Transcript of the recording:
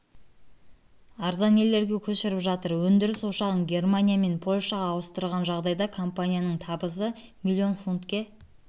арзан елдерге көшіріп жатыр өндіріс ошағын германия мен польшаға ауыстырған жағдайда компанияның табысы миллион футнке